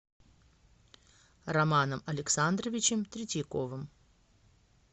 романом александровичем третьяковым